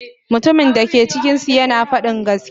Mutumin da ke cikinsu yana faɗin gaskiya.